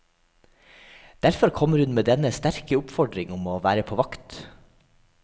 Derfor kommer hun med denne sterke oppfordring om å være på vakt.